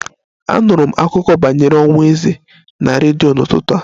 Anụrụ m akụkọ banyere ọnwụ eze na redio n'ụtụtụ a